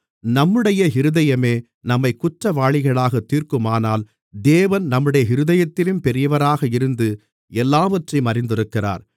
நம்முடைய இருதயமே நம்மைக் குற்றவாளிகளாகத் தீர்க்குமானால் தேவன் நம்முடைய இருதயத்திலும் பெரியவராக இருந்து எல்லாவற்றையும் அறிந்திருக்கிறார்